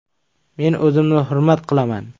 Men o‘zimni hurmat qilaman.